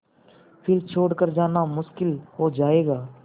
फिर छोड़ कर जाना मुश्किल हो जाएगा